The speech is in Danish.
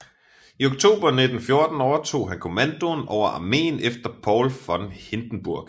I oktober 1914 overtog han kommandoen over armeen efter Paul von Hindenburg